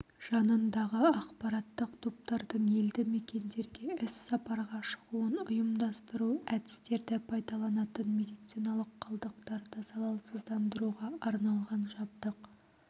жанындағы ақпараттық топтардың елді мекендерге іс-сапарға шығуын ұйымдастыру әдістерді пайдаланатын медициналық қалдықтарды залалсыздандыруға арналған жабдық